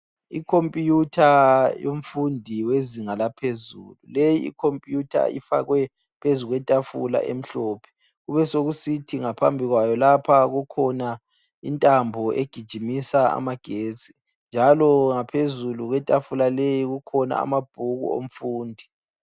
Ikhompiyutha yomfundi wezinga laphezulu. Le ikhompiyutha ifakwe phezu kwetafula emhlophe kubesokusithi ngaphambi kwayo lapha kukhona intambo egijimisa amagetsi njalo ngaphezulu kwetafula leyi kukhona amabhuku omfundi.